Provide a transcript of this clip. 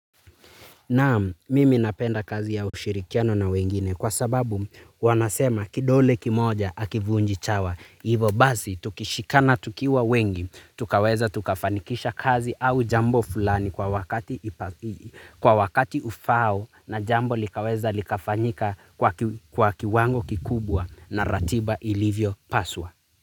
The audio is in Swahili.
Naam, mimi napenda kazi ya ushirikiano na wengine kwa sababu wanasema kidole kimoja hakivunji chawa. Ivo basi, tukishikana tukiwa wengi, tukaweza tukafanikisha kazi au jambo fulani kwa wakati ufaao na jambo likaweza likafanyika kwa kiwango kikubwa na ratiba ilivyopaswa.